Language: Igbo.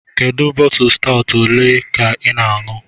Kedu bọtụlụ stawụt olee ka ị ṅụrụ??